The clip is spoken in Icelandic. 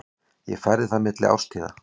Ég færði það milli árstíða.